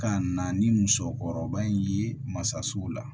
Ka na ni muso kɔrɔba in ye masasow la